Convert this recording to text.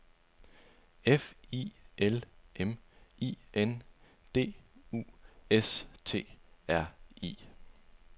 F I L M I N D U S T R I